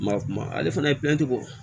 Ma kuma ale fana ye bɔ